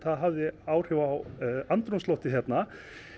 það hafði áhrif á andrúmsloftið hérna